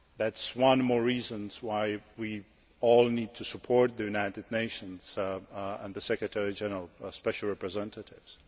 B. This is one more reason why we all need to support the United Nations and the Secretary General and special representatives.